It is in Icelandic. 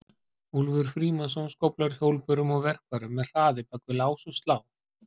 Úlfur Frímannsson skóflar hjólbörum og verkfærum með hraði bak við lás og slá.